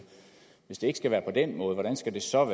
hvis det ikke skal være på den måde hvordan skal det så